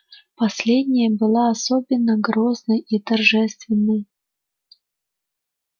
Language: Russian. последняя была особенно грозной и торжественной